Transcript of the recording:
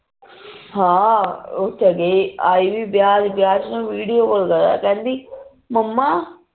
ਹਾਂ ਉਹ ਸਗੇ ਆਏ ਵੀ ਵਿਆਹ ਵਿਚ ਵਿਆਹ ਵਿਚ video call ਕਰਾ ਕਹਿੰਦੀ ਮੰਮਾ